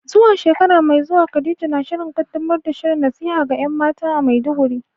Zuwa shekara mai zuwa, Khadija na shirin kaddamar da shirin nasiha ga ‘yan mata a Maiduguri.